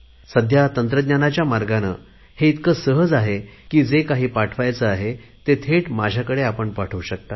सध्या तंत्रज्ञानाच्या मार्गाने हे इतके सहज आहे की जे काही पाठवायचे आहे ते थेट माझ्याकडे पाठवू शकता